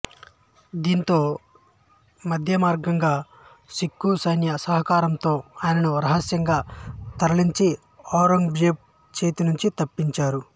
దాంతో మధ్యేమార్గంగా సిక్ఖు సైన్య సహకారంతో ఆయనను రహస్యంగా తరిలించి ఔరంగజేబు చేతి నుంచి తప్పించారు